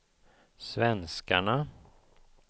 svenskarna